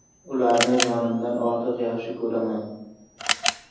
Ularni jonimdan ortiq yaxshi ko‘raman.